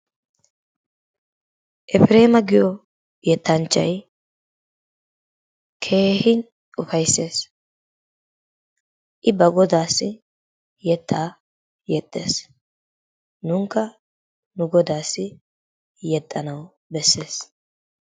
Effiremaa giyo yettanchay kehi uffaysees,i baa godaassi yettaa yexxees, nunikka nu godaassi yexxanawi besees.